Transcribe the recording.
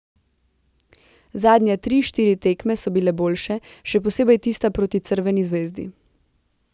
Zadnje tri, štiri tekme so bile boljše, še posebej tista proti Crveni zvezdi.